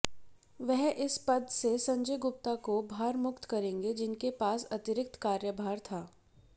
वह इस पद से संजय गुप्ता को भारमुक्त करेंगे जिनके पास अतिरिक्त कार्यभार था